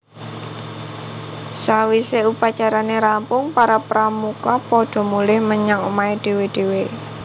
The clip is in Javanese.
Sawise upacarane rampung para Pramuka padha mulih menyang omahé dhéwé dhéwé